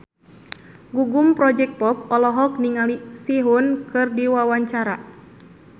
Gugum Project Pop olohok ningali Sehun keur diwawancara